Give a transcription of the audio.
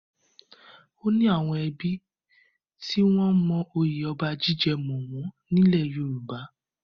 Ó ní àwọn ẹbí tí wọ́n mọ oyè ọba jíjẹ mọ́ wọn nílẹ̀ Yorùbá.